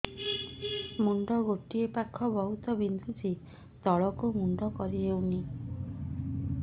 ମୁଣ୍ଡ ଗୋଟିଏ ପାଖ ବହୁତୁ ବିନ୍ଧୁଛି ତଳକୁ ମୁଣ୍ଡ କରି ହଉନି